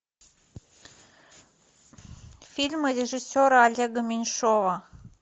фильмы режиссера олега меньшова